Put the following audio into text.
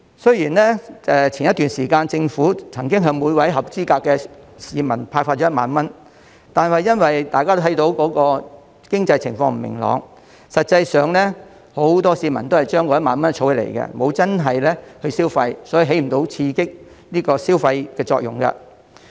雖然早前特區政府曾經向每名合資格市民派發1萬元，但因為大家看到經濟情況不明朗，實際上，很多市民都是將那1萬元儲起，沒有真正消費，所以起不到刺激消費的作用。